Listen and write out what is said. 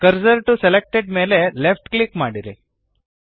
cursor to selected ಮೇಲೆ left click ಮಾಡಿರಿ